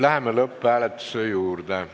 Läheme lõpphääletuse juurde.